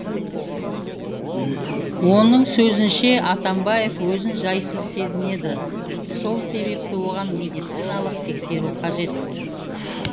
оның сөзінше атамбаев өзін жайсыз сезінеді сол себепті оған медициналық тексеру қажет